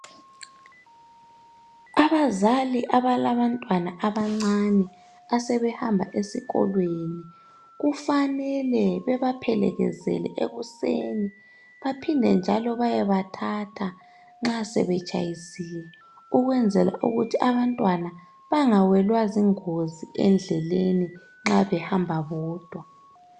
Abazali abalabantwana abancane asebehamab esikolweni kufanele beba phelekezele ekuseni Baphinde njalo bayeba thatha nxa sebetshayisile ukwenzela ukuthi abantwana bangawelwa zingozi endleleni nxa behamba bodwa.